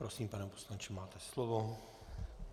Prosím, pane poslanče, máte slovo.